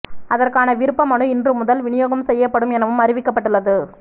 அதற்கான விருப்பமனு இன்று முதல் விநியோகம் செய்யப்படும் எனவும் அறிவிக்கப்பட்டுள்ளது